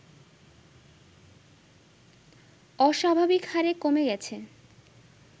অস্বাভাবিকহারে কমে গেছে